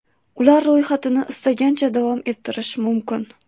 Ular ro‘yxatini istagancha davom ettirish mumkin.